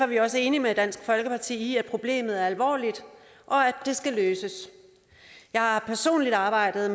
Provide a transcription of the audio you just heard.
vi også enige med dansk folkeparti i at problemet er alvorligt og at det skal løses jeg har personligt arbejdet